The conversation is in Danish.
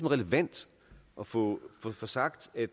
relevant at få få sagt at